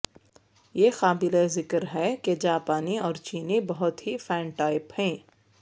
یہ قابل ذکر ہے کہ جاپانی اور چینی بہت ہی فینٹائپ ہیں